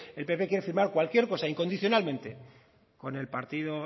el pp quiere firmar cualquier cosa incondicionalmente con el partido